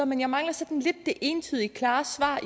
men jeg mangler sådan lidt det entydigt klare svar